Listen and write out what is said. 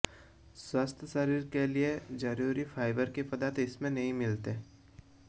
स्वस्थ शरीर के लिए जरूरी फाइबर के पदार्थ इसमें नहीं मिलते